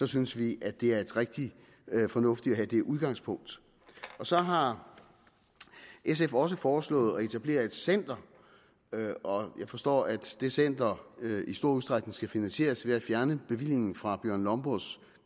synes vi at det er rigtig fornuftigt at have det udgangspunkt så har sf også foreslået at etablere et center jeg forstår at det center i stor udstrækning skal finansieres ved at fjerne bevillingen fra bjørn lomborgs